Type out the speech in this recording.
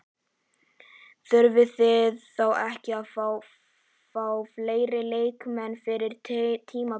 Þurfið þið þá ekki að fá fleiri leikmenn fyrir tímabilið?